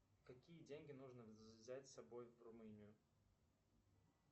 какие деньги нужно взять с собой в румынию